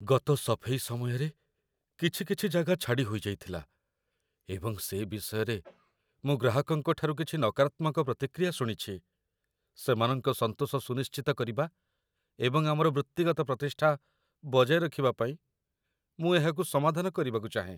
ଗତ ସଫେଇ ସମୟରେ କିଛି କିଛି ଜାଗା ଛାଡ଼ି ହୋଇଯାଇଥିଲା ଏବଂ ସେ ବିଷୟରେ ମୁଁ ଗ୍ରାହକଙ୍କଠାରୁ କିଛି ନକାରାତ୍ମକ ପ୍ରତିକ୍ରିୟା ଶୁଣିଛି। ସେମାନଙ୍କ ସନ୍ତୋଷ ସୁନିଶ୍ଚିତ କରିବା ଏବଂ ଆମର ବୃତ୍ତିଗତ ପ୍ରତିଷ୍ଠା ବଜାୟ ରଖିବା ପାଇଁ ମୁଁ ଏହାକୁ ସମାଧାନ କରିବାକୁ ଚାହେଁ।